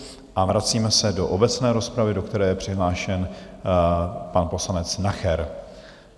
A vracíme se do obecné rozpravy, do které je přihlášen pan poslanec Nacher.